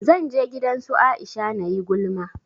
Zan je gidan su Aisha nayi gulma